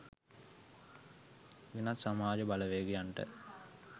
වෙනත් සමාජ බලවේගයන්ට